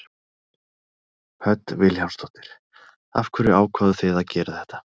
Hödd Vilhjálmsdóttir: Af hverju ákváðuð þið að gera þetta?